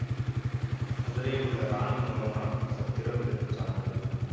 மதுரையில் உள்ள இராணி மங்கம்மாள் சத்திரம் இதற்கு சான்று